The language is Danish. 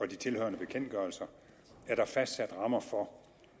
de tilhørende bekendtgørelser er der fastsat rammer for